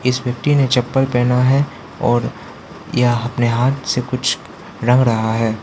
इस व्यक्ति ने चप्पल पहना है और यह अपने हाथ से कुछ रंग रहा है।